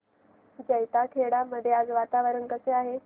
जैताखेडा मध्ये आज वातावरण कसे आहे